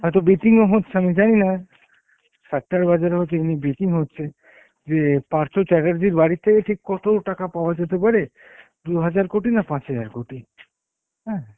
হয়েত betting ও হচ্ছে আমি জানি না সাত্তার বাজারেও তেমনি betting হচ্ছে, যে পার্থ চাত্তের্জীর বাড়িতে ঠিক কত টাকা পাওয়া যেতে পারে দুহাজার কোটি না পাঁচ হাজার কোটি, হ্যাঁ